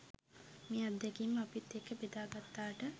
මේ අත්දැකීම් අපිත් එක්ක ‍බෙදා ගත්තාට.